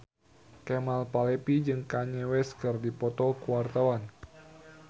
Kemal Palevi jeung Kanye West keur dipoto ku wartawan